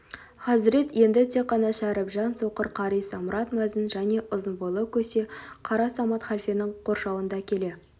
хазірет енді тек қана шәрібжан соқыр қари самұрат мәзін және ұзын бойлы көсе қара самат халфенің қоршауында келе